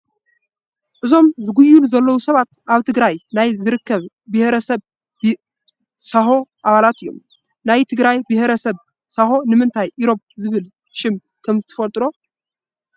እዞም ዝጉይሉ ዘለዉ ሰባት ኣብ ትግራይ ናይ ዝርከብ ኢሮፕ ዝበሃል ብሄረሰብ ሳሆ ኣባላት እዮም፡፡ ናይ ትግራይ ብሄረ ሰብ ሳሄ ንምንታይ ኢሮፕ ዝብል ሽም ከምዝተዋህቦ ትፈልጡ ዶ?